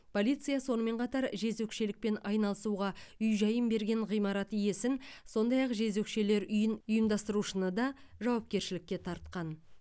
полиция сонымен қатар жезөкшелікпен айналысуға үй жайын берген ғимарат иесін сондай ақ жезөкшелер үйін ұйымдастырушыны да жауапкершілікке тартқан